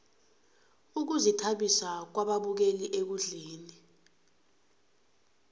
ukuzithabisa kwababukeli ekundleni